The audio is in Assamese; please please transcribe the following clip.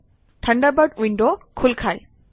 থাণ্ডাৰবাৰ্ড উইণ্ড খোল খায়